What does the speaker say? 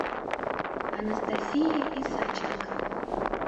анастасия исаченко